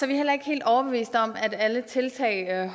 vi heller ikke helt overbeviste om at alle tiltag